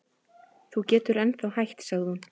Þú getur ennþá hætt sagði hún.